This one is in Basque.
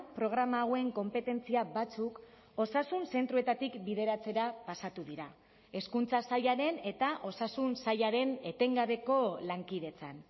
programa hauen konpetentzia batzuk osasun zentroetatik bideratzera pasatu dira hezkuntza sailaren eta osasun sailaren etengabeko lankidetzan